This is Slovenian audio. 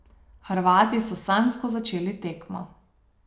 Hrvati so sanjsko začeli tekmo.